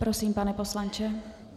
Prosím, pane poslanče.